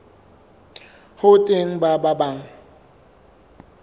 ho teng ba bang ba